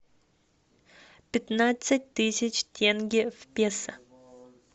пятнадцать тысяч тенге в песо